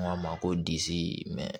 N k'a ma ko disi mɛ